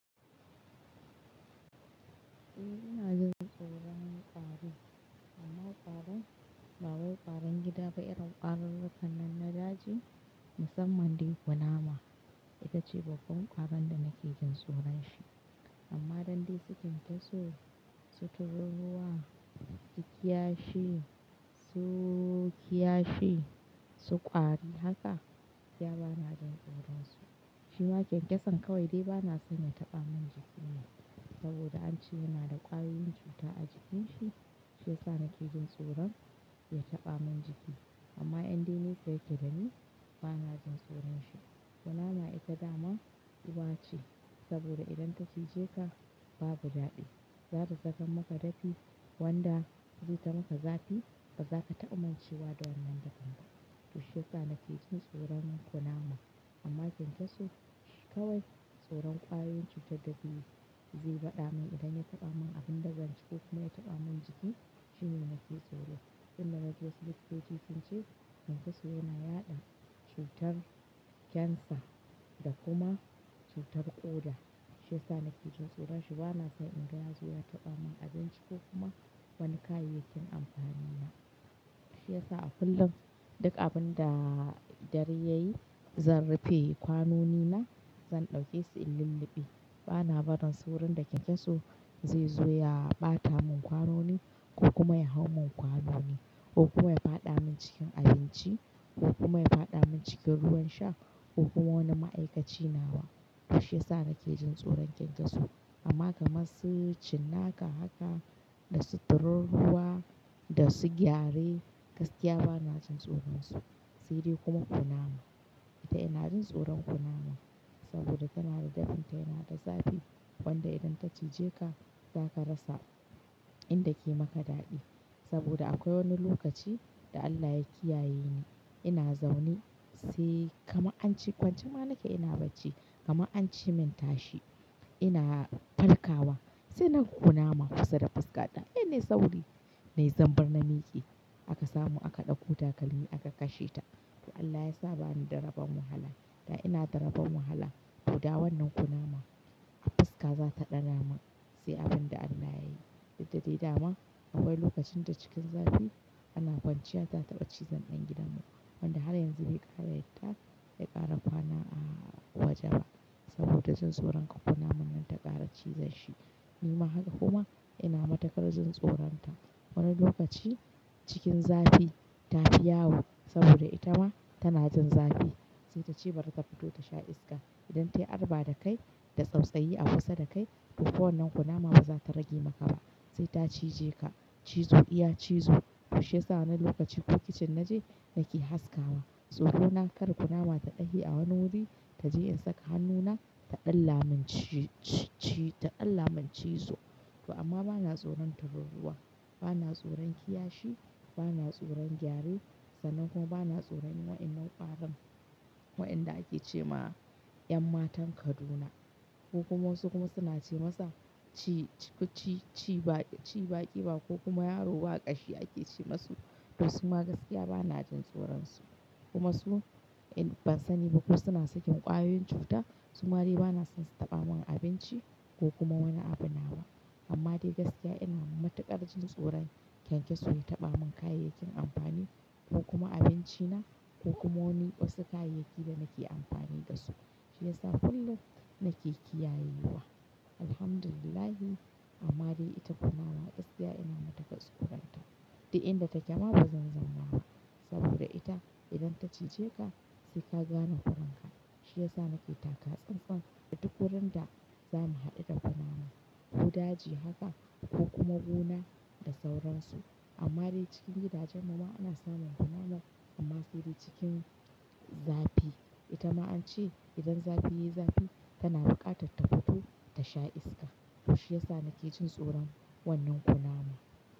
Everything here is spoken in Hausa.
Eh ina jin tsoron ƙwarin, amma ƙwarin, ba wai ƙwarin gida ba, irin ƙwarin rikannan na daji musamman dai kunama ita ce babban ƙwaron da nake jin tsoron shi. Amma dandai su kyankyaso, su tururuwa, su kiyashi, su kiyashi, su ƙwari haka, gaskiya bana jin tsoron su. Shi ma kyankyason kawai dai bana son ya taɓa min jiki ne saboda an ce yana da ƙwayoyin cuta a jikinshi shiyasa nake jin tsoron ya taɓa min jiki. Amma inde ne saya yakedani bana jin tsoron shi. Kunama ita dama uwa ce saboda idan ta cije ka babu daɗi, za ta saka maka dafi wanda zaita maka zafi ba za ka taɓamancewa da wannan dafin ba. To shiyasa nake jin tsoron kunama. Amma kyankyaso shi kawai tsoron ƙwayoyin cutar da zai baɗa min idan ya taɓa min abin da zan ci ko kuma ya taɓa min jiki shine nake tsoro. Inda na je su liffaƙe shi sun ce kyankyaso yana yaɗa cutar cancer da kuma cutar ƙoda shiyasa nake jin tsoron shi bana son in ga ya zo ya taɓa min abin ci ko kuma wani kayayyakin amfani na. Shiyasa a kullum duk abin da dare yayi zan rufe kwanoni na zan ɗauke su in lulluɓe. Bana barin su wurin da kyankyaso zai zo ya ɓata mun kwanoni ko kuma ya hau mun kwanoni ko kuma ya fada min cikin abinci ko kuma ya fada min cikin ruwan sha ko kuma wani ma'aikaci na ba. To shiyasa nake jin tsoron kyankyaso. Amma kamar su cinnaka haka da su tururuwa da su gyare gaskiya bana jin tsoron su. Sai dai kuma kunama ita ina jin tsoron kunama saboda tana da dafin ta yana da zafi wanda idan ta cije ka za ka rasa inda ke maka daɗi. Amma kyankyaso shi kawai tsoron ƙwayoyin cutar da zai baɗa min idan ya taɓa min abin da zan ci ko kuma ya taɓa min jiki shine nake tsoro. Nai zanbar na miƙe aka samu aka ɗauko takalmi aka kashe ta. To Allah ya sa bani da raban wahala da ina da raban wahala to da wannan kunama a fuska za ta ɗana ma sai abin da Allah yayi. Duk da dai dama akwai lokacin da cikin zafi ana kwanciya ta taɓa cizon ɗan gidan mu wanda har yanzu bai ƙara yadda bai ƙara kwana a waje ba saboda jin tsoron kar kunaman nan ta ƙara cizen shi. Ni ma haka kuma, ina matukar jin tsoron ta. Wani lokaci cikin zafi ta fi yawo saboda ita ma tana jin zafi sai ta ce bari ta fito ta sha iska idan tayi arba da kai da tsautsayyi a kusa da kai to ko wannan kunama ba za ta rage maka ba sai ta cije ka cizo iya cizo. To shiyasa wani lokaci in kitchen naje nake haskawa tsoro na kar kunama ta ɗahi a wani wuri ta je in saka hannuna taɗalla mun ci-ci-ci taɗalla mun cizo. To amma bana tsoron tururuwa, bana tsoron kiyashi, bana tsoron gyare sannan kuma bana tsoron wa'innan ƙwarin wa'inda ake ce ma 'yan matan Kaduna ko kuma wasu kuma suna ce masa ci ci-ci-ci ba ƙiba ko kuma yaro baƙashi ake ce masu to su ma gaskiya bana jin tsoron su. Kuma su ban sani ba ko suna sakin ƙwayoyin cuta su ma dai bana son su taɓa mun abinci ko kuma wani abu na wa. Amma dai gaskiya ina matuƙar jin tsoron kyankyaso ya taɓa mun kayayyakin amfani ko kuma abinci na ko kuma wani, wasu kayayyaki da nake amfani dasu. Shiyasa kullum nake kiyaye wa. Alhamdulillah. Amma dai ita kunama gaskiya ina matukar tsoron ta duk inda take ma ba zan zauna ba saboda ita idan ta cije ka sai ka gane kuran ka. Shiyasa nake taka tsantsan da duk wurin da zamu haɗu da kunama, ko daji haka ko kuma gona da sauransu. Amma dai cikin gidajen mu ma ana samun kunama, amma sai dai cikin zafi. Ita ma an ce, idan zafi yayi zafi, tana buƙatar ta fito ta sha iska. To shiyasa nake jin tsoron, wannan kunama.